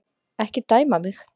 Ekki dæma mig.